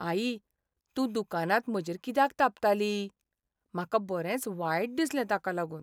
आई! तूं दुकानांत म्हजेर कित्याक तापताली? म्हाका बरेंच वायट दिसलें ताका लागून.